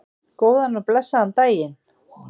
Góðan og blessaðan daginn!